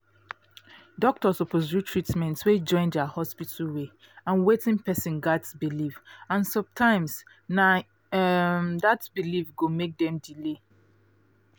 doctor suppose do treatment wey join um hospital way and wetin person um believe and sometimes na um that belief go make dem delay